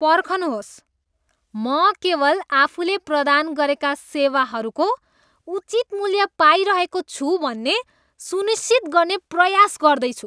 पर्खनुहोस्, म केवल आफूले प्रदान गरेका सेवाहरूको उचित मूल्य पाइरहेको छु भन्ने सुनिश्चित गर्ने प्रयास गर्दैछु।